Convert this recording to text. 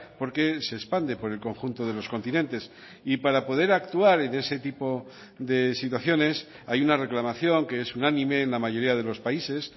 porque se expande por el conjunto de los continentes y para poder actuar en ese tipo de situaciones hay una reclamación que es unánime en la mayoría de los países